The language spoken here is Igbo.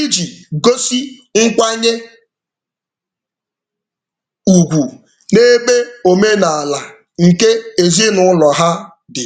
iji gosi nkwanye ugwu n'ebe omenaala nke ezinụụlọ ha dị.